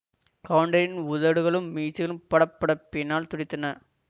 கவுண்டரின் உதடுகளும் மீசையும் படபடப்பினால் துடித்தன